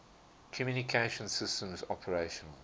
communication systems operational